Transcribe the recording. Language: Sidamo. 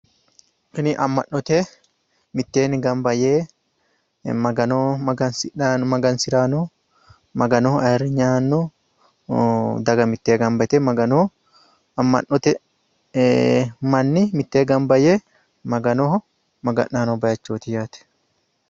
Tini amma'note mitteenni gamba yee Magano magansirayi no. Maganoho aayirinye aanni no. Daga mitteennni gamba yite amma'note manni mitee gamba yee Maganoho maga'nayi noo baayiichooti yate.